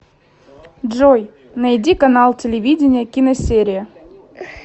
джой найди канал телевидения киносерия